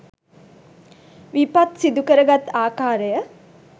විපත් සිදුකරගත් ආකාරය